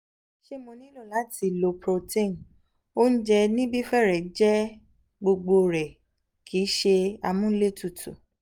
ṣé mo nílò láti lo protein? oúnjẹ níbí fẹ́rẹ̀ẹ́ jẹ́ gbogbo rẹ̀ kì í ṣe amúlétutù